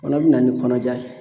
O fana be na ni kɔnɔja ye.